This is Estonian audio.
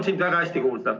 Sind on väga hästi kuulda.